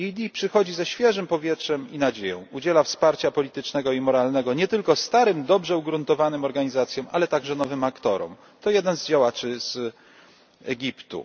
EED niesie ze sobą powiew świeżości i nadzieję, udziela wsparcia politycznego i moralnego nie tylko starym dobrze ugruntowanym organizacjom, ale także nowym aktorom to słowa jednego z działaczy z Egiptu.